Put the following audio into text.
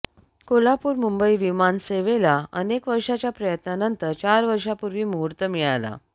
कोल्हापूर मुंबई विमानसेवेला अनेक वर्षाच्या प्रयत्नानंतर चार वर्षांपूर्वी मुहूर्त मिळाला